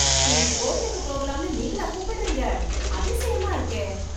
இன்னிக்கு கோவிலுக்கு போகலாம்னு நீங்களா கூப்டறீங்க... அதிசயமா இருக்கே...